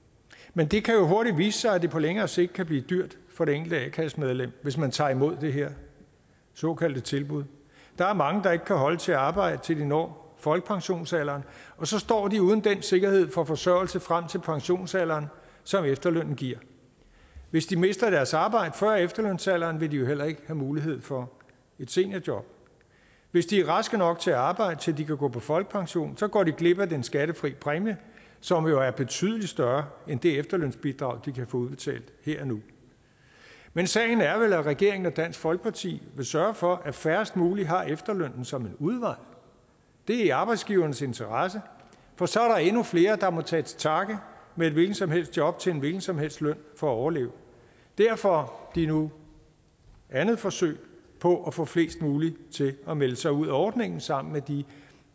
men det kan jo hurtigt vise sig at det på længere sigt kan blive dyrt for det enkelte a kassemedlem hvis man tager imod det her såkaldte tilbud der er mange der ikke kan holde til at arbejde til de når folkepensionsalderen og så står de uden den sikkerhed for forsørgelse frem til pensionsalderen som efterlønnen giver hvis de mister deres arbejde før efterlønsalderen vil de jo heller ikke have mulighed for et seniorjob hvis de er raske nok til at arbejde til de kan gå på folkepension går de glip af den skattefri præmie som jo er betydelig større end det efterlønsbidrag de kan få udbetalt her og nu men sagen er vel at regeringen og dansk folkeparti vil sørge for at færrest mulige har efterlønnen som en udvej det er i arbejdsgivernes interesse for så er der endnu flere der må tage til takke med et hvilket som helst job til en hvilken som helst løn for at overleve derfor dette nu andet forsøg på at få flest mulige til at melde sig ud af ordningen sammen med de